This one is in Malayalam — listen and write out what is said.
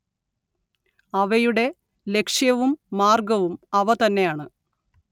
അവയുടെ ലക്‌ഷ്യവും മാർഗവും അവതന്നെയാണ്